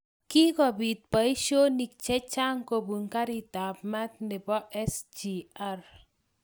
Kikobit boishonik che chang kobun karit ab maat nebo SGR